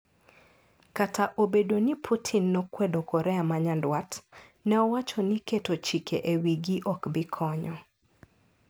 Kata obedo ni Putin nokwedo Korea ma nyanduat, ne owacho ni keto chike e wigi ok bi konyo.